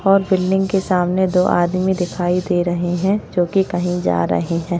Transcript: और बिल्डिंग के सामने दो आदमी दिखाई दे रहे है जो कि कहीं जा रहे है।